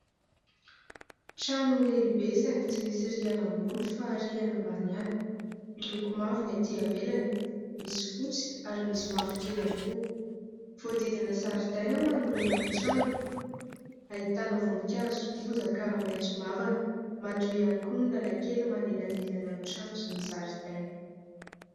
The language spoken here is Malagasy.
Trano lehibe saingy tsy misy rihana ambony fa rihana ambany ihany. Miloko mavo ny atỳ ivelany, misy fotsy ary misy mavokely ihany koa. Voahodidina zaridaina manoloana ny trano, ahitana voninkazo sy bozaka maitso mavana. Madio ihany koa ny lalan-kely manelanelana ny trano sy ny zaridaina.